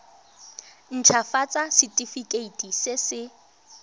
nt hafatsa setefikeiti se se